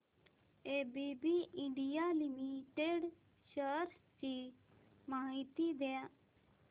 ABB India limited shares ची माहिती द्या